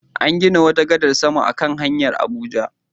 An gina wata gadar sama a kan hanyar Abuja.